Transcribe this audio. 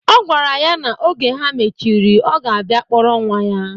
Ọ gwara ya na oge ha mechiri, ọ ga-abia kpọrọ nwa ya.